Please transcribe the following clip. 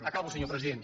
acabo senyor president